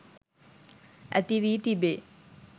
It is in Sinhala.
ඇති වී තිබේ.